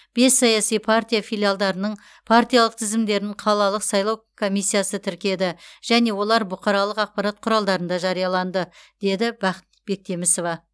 бес саяси партия филиалдарының партиялық тізімдерін қалалық сайлау комиссиясы тіркеді және олар бұқаралық ақпарат құралдарында жарияланды деді бақыт бектемісова